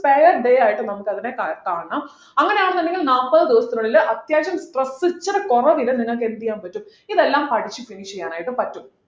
pair day ആയിട്ട് നമുക്ക് അതിനെ കാ കാണണം അങ്ങനെയാണെന്നുണ്ടെങ്കിൽ നാല്പത് ദിവസത്തിനുള്ളിൽ അത്യാവശ്യം stress ഇച്ചിരി കൊറവില് നിങ്ങൾക്ക് എന്ത് ചെയ്യാൻ പറ്റും ഇതെല്ലാം പഠിചു finish ചെയ്യാനായിട്ട് പറ്റും